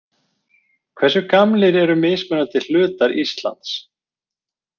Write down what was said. Hversu gamlir eru mismunandi hlutar Íslands?